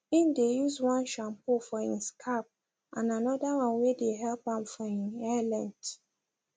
im dae use one shampoo for him scalp and another one wae dae help am for im hair length